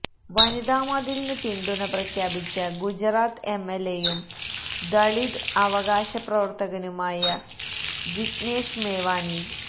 വനിതാ മതിലിന് പിന്തുണ പ്രഖ്യാപിച്ച ഗുജറാത്ത് എംഎല്എയും ദളിത് അവകാശപ്രവര്ത്തകനുമായ ജിഗ്നേഷ് മേവാനി